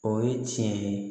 O ye tiɲɛ ye